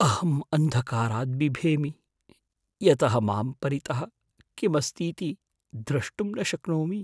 अहम् अन्धकारात् बिभेमि यतः मां परितः किम् अस्तीति द्रष्टुं न शक्नोमि।